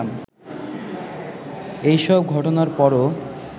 এসব ঘটনার পরও